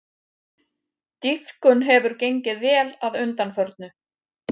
Dýpkun hefur gengið vel að undanförnu